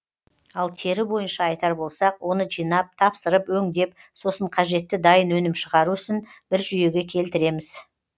ал тері бойынша айтар болсақ оны жинап тапсырып өңдеп сосын қажетті дайын өнім шығару ісін бір жүйеге келтіреміз